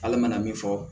Hali mana min fɔ